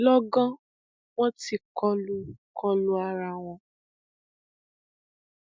lọgán wọn tí kọlu kọlu ara wọn